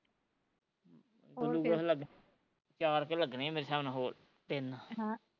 glucose ਲੱਗਾ ਚਾਰ ਕੁ ਲੱਗਣੇ ਮੇਰੇ ਹਿਸਾਬ ਨਲ ਹੋਰ ਤਿੰਨ